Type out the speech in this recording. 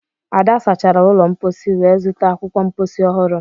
Ada sachara ụlọ mposi wee zụta akwụkwọ mposi ọhụrụ